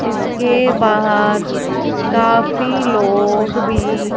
इसके बाहर काफी लोग भी--